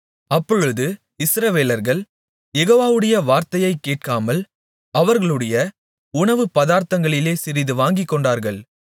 அப்பொழுது இஸ்ரவேலர்கள் யெகோவாவுடைய வார்த்தையைக் கேட்காமல் அவர்களுடைய உணவுப்பதார்த்தங்களிலே சிறிது வாங்கிக்கொண்டார்கள்